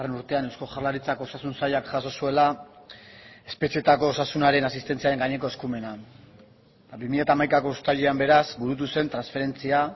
urtean eusko jaurlaritzako osasun sailak jaso zuela espetxeetako osasunaren asistentziaren gaineko eskumena eta bi mila hamaikako uztailean beraz burutu zen transferentzia